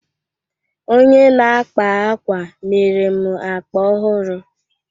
Onye na-akpa ákwà mere m akpa ọhụrụ